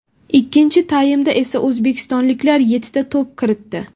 Ikkinchi taymda esa o‘zbekistonliklar yettita to‘p kiritdi.